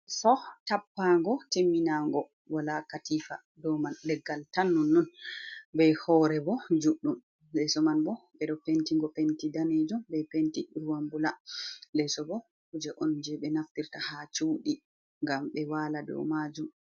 Leeso tappaago timminaago. Walaa katiifa dow man. Leggal tan nonnon bee hoore bo juuɗɗum. Leeso man bo ɓe dow penti ngo penti daneejum bee penti ''ruwan bula''. Leeso bo kuuje on jey ɓe naftirta haa cuudi ngam ɓe waala dow maajum.